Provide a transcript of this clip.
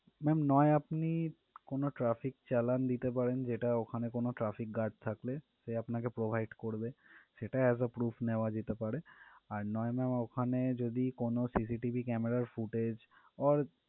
Ma'am নয় আপনি কোনো traffic চালান দিতে পারেন যেটা ওখানে কোনো traffic guard থাকলে সে আপনাকে provide করবে সেটা as a proof নেওয়া যেতে পারে আর নয় ma'am ওখানে যদি কোনো CCTV camera footage or